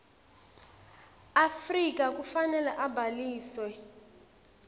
afrika kufanele abhaliswe